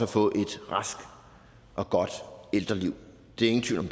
få et rask og godt ældreliv ingen tvivl om